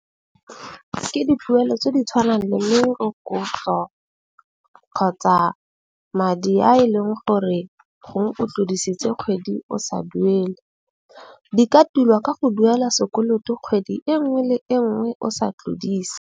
Ke dituelo tse di tshwanang le merokotso kgotsa madi a e leng gore gongwe o tlodisitse kgwedi o sa duele. Di ka tilwa ka go duela sekoloto kgwedi e nngwe le e nngwe o sa tlodise.